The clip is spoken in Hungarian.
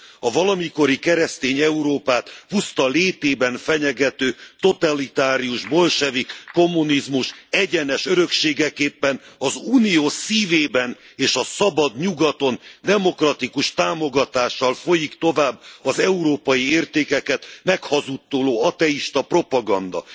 A valamikori keresztény Európát puszta létében fenyegető totalitárius bolsevik kommunizmus egyenes örökségeképpen az Unió szívében és a szabad Nyugaton, demokratikus támogatással folyik tovább az európai értékeket meghazudtoló ateista propaganda.